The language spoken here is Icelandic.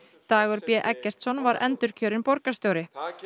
Dagur b Eggertsson var endurkjörinn borgarstjóri